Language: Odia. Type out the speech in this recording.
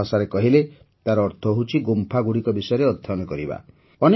ସରଳ ଭାଷାରେ କହିଲେ ତାର ଅର୍ଥ ହେଉଛି ଗୁମ୍ଫାଗୁଡ଼ିକ ବିଷୟରେ ଅଧ୍ୟୟନ କରିବା